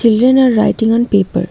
Children are writing on paper.